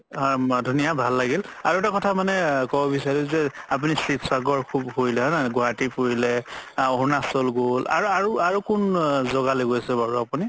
ধুনীয়া ভাল লাগিল আৰু এটা কথা মানে ক'ব বিচাৰো যে আপুনি শিৱসাগৰ সুব ঘুৰিলে ন গুৱাহাতি ফুৰিলে অৰুণাচল গ'ল আৰু আৰু কোন জাগালে গৈছে বাৰু আপুনি